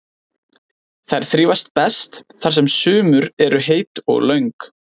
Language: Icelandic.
Þær þrífast best þar sem sumur eru heit og löng.